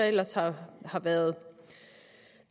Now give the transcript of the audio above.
ellers har har været